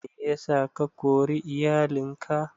Meyasa ka kori iyalin ka?